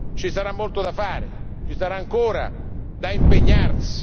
Ci sarà molto da fare, ci sarà ancora da impegnarsi.